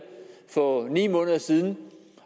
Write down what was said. for ni måneder siden